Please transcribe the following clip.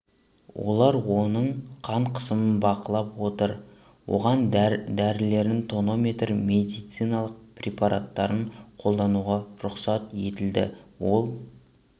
олар оның қан қысымын бақылап отыр оған дәрілерін тонометр медициналық препараттарын қолдануға рұқсат етілді ол